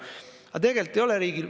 Aga tegelikult ei ole.